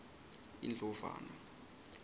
indlovana